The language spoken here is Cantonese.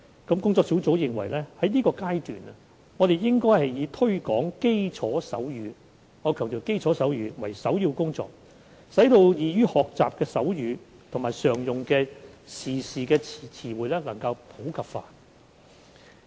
工作小組認為現階段應以推廣基礎手語——我強調是基礎手語——為首要工作，使易於學習的手語及常用的時事詞彙普及化。